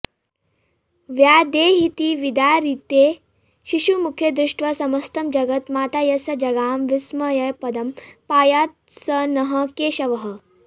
व्यादेहीति विदारिते शिशुमुखे दृष्ट्वा समस्तं जगत् माता यस्य जगाम विस्मयपदं पायात् स नः केशवः